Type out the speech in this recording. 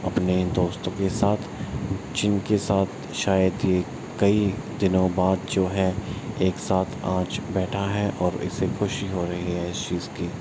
अपने दोस्तों के साथ जिनके साथ शायद ये कई दिनों बाद जो हैं एक साथ आज बैठा है और इसे ख़ुशी हो रही है इस चीज़ की।